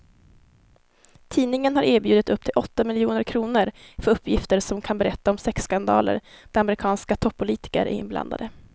Tidningen har erbjudit upp till åtta miljoner kr för uppgifter som kan berätta om sexskandaler där amerikanska toppolitiker är inblandade.